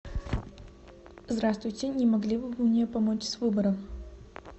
здравствуйте не могли бы вы мне помочь с выбором